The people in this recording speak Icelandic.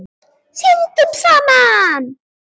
Syndum saman.